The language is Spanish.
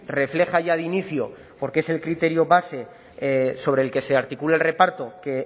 refleja ya de inicio porque es el criterio base sobre el que se articule el reparto que